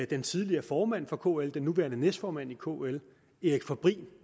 den tidligere formand for kl den nuværende næstformand i kl erik fabrin